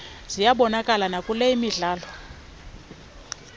ziyabonakala nakule midlalo